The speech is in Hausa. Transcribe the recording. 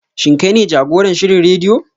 Shin kai ne jagoran shirin rediyo?